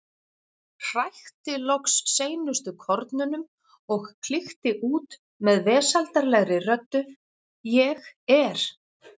Hrækti loks seinustu kornunum og klykkti út með, vesældarlegri röddu: Ég er.